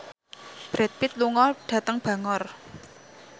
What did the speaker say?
Brad Pitt lunga dhateng Bangor